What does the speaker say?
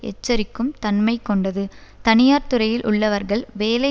எச்சரிக்கும் தன்மை கொண்டது தனியார் துறையில் உள்ளவர்கள் வேலை